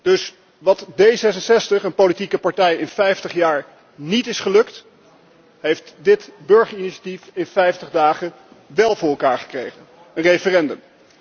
Dus wat D66, een politieke partij, in vijftig jaar niet is gelukt, heeft dit burgerinitiatief in 50 dagen wel voor elkaar gekregen, een referendum.